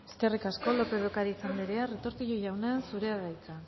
eskerrik asko lópez de ocariz andrea retortillo jauna zurea da hitza